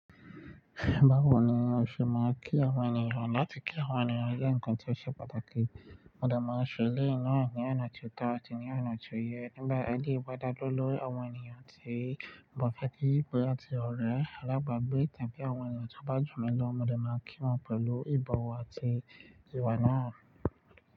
Báwo ni o ṣe máa ń kí àwọn ènìyàn? Láti kí àwọn ènìyàn jẹ́ ǹkan tó ṣe pàtàkì. Mo de máa ń ṣè eleyi náà ní ọ̀nà tó tọ́ àti ní ọ̀nà tó yẹ. Nígbà ẹni ìbádágẹ́lẹ́ lórí àwọn ènìyàn tí ọ̀pọ̀ fàájì pẹ̀lú àti ọ̀rẹ́. Lẹ́bàá bí ìtàn bí àwọn ènìyàn tó bá jù mí lọ, òdò máa ń kí wọn pẹ̀lú ìbọ̀wọ̀ àti ìwà náà.